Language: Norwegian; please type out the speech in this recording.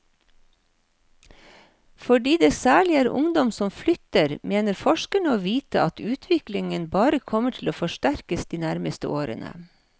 Fordi det særlig er ungdom som flytter, mener forskerne å vite at utviklingen bare kommer til å forsterkes de nærmeste årene.